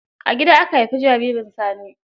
A gida aka haifi jaririn sani.